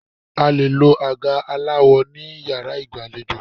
A lè lo àga aláwọ ní Yàrá ìgbàlejò.